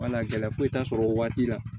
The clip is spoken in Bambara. Wala gɛlɛya foyi t'a sɔrɔ o waati la